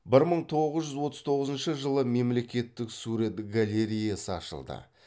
бір мың тоғыз жүз отыз тоғызыншы жылы мемлекеттік сурет галереясы ашылды